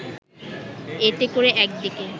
এতে করে একদিকে